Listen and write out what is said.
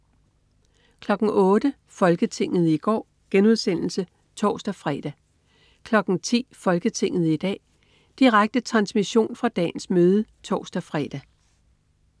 08.00 Folketinget i går* (tors-fre) 10.00 Folketinget i dag. Direkte transmission fra dagens møde (tors-fre)